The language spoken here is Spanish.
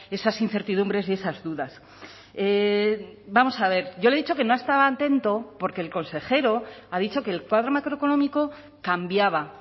esas incertidumbres y esas dudas vamos a ver yo le he dicho que no estaba atento porque el consejero ha dicho que el cuadro macroeconómico cambiaba